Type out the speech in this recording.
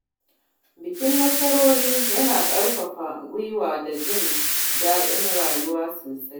Bikin nasarori yana ƙarfafa gwiwa da jin daɗin rayuwa sosai.